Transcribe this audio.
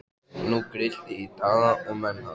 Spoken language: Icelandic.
Nú grillti í Daða og menn hans.